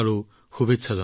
বহুত শুভকামনা